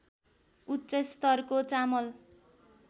उच्च स्तरको चामल